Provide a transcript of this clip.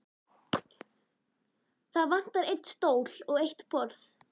Það vantar einn stól og eitt borð.